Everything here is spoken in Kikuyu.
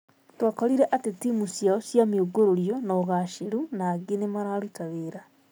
Twakorire atĩ timũ ciao cia mĩungũrũrio na ũgaceru na angĩ nĩ mararuta wĩra.